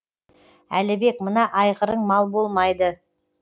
әлібек мына айғырың мал болмайды